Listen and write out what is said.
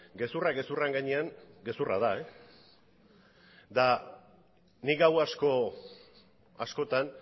gezurrak gezurren gainean gezurra da eta nik gau asko askotan